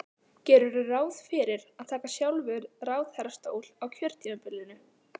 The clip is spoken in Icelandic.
Gerirðu ráð fyrir að taka sjálfur ráðherrastól á kjörtímabilinu?